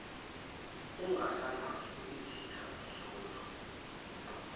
ungasenazo izitha nzuza